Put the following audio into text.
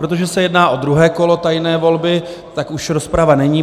Protože se jedná o druhé kolo tajné volby, tak už rozprava není.